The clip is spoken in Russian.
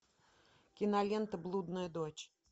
кинолента блудная дочь